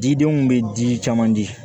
Didenw bɛ di caman de ma